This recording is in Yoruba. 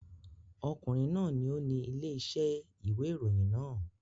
Ọkùnrin náà ni ó ni ilé-iṣẹ́ ìwé ìròyìn náà.